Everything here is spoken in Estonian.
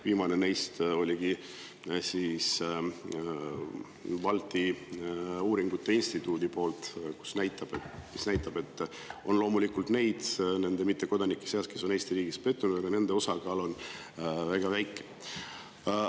Viimane neist oli Balti Uuringute Instituudi poolt ja see näitab, et loomulikult on mittekodanike seas neid, kes on Eesti riigis pettunud, aga nende osakaal on väga väike.